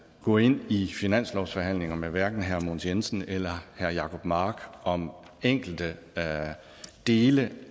gå ind i finanslovsforhandlinger med hverken herre mogens jensen eller herre jacob mark om enkelte dele